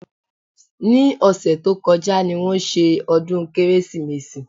Ní ọ̀sẹ̀ tó kọjá ni wọ́n ṣe ọdún Kérésìmesì